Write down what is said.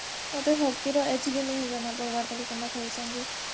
ମତେ ହକିର ବି ଜଣା ନାଇଁ ପଡବାର କେନ୍ତା ଖେଲିସନ୍ ଯେ